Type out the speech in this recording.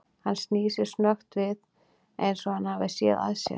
Hann snýr sér snöggt við eins og hann hafi séð að sér.